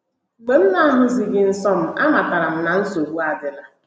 Mgbe m na - ahụghịzi nsọ m, amatara m na nsogbu adịla.